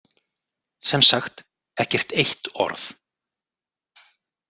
Sem sagt ekkert eitt orð.